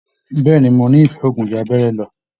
Bẹ̀ẹ́ni, mo n'ifẹ òògùn jù abẹrẹ lọ.